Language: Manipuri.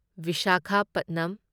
ꯚꯤꯁꯥꯈꯥꯄꯠꯅꯝ